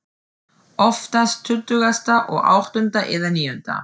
Oftast tuttugasta og áttunda eða níunda.